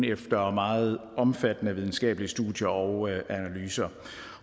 efter meget omfattende videnskabelige studier og analyser